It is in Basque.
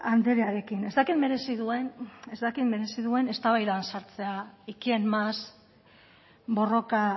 andrearekin ez dakit merezi duen eztabaidan sartzea y quién más borroka